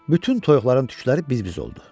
Bütün toyuqların tükləri biz-biz oldu.